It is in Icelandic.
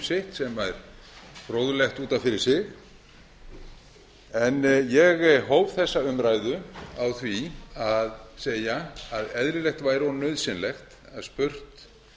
sitt sem er fróðlegt út af fyrir sig ég hóf þessa umræðu á því að segja að eðlilegt væri og nauðsynlegt að spurt